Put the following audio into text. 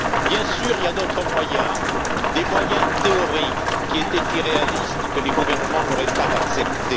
Bien sûr, il y a d'autres moyens, des moyens théoriques qui étaient irréalistes, que les gouvernements n'auraient pas acceptés.